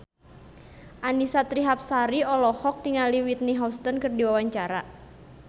Annisa Trihapsari olohok ningali Whitney Houston keur diwawancara